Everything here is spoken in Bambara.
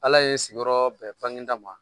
Ala ye n sigiyɔrɔ bɛn Bagineda ma